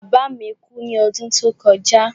Bàbá mi kú ní odún tó kojá